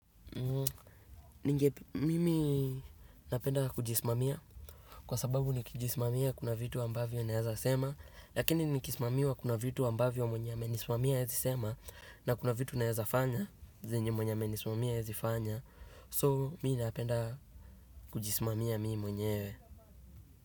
Ningepe mimi napenda kujisimamia kwa sababu nikijisimamia kuna vitu ambavyo naeza sema lakini nikismamiwa kuna vitu ambavyo mwenye amenisimamia haezi sema na kuna vitu naeza fanya zenye mwenye amenisimamia haezi fanya. So mimi napenda kujisimamia mimi mwenyewe.